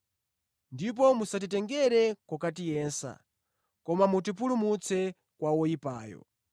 Ndipo musatitengere kokatiyesa; koma mutipulumutse kwa woyipayo.’